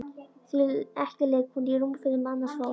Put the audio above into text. Því ekki liggi hún í rúmfötum annars fólks.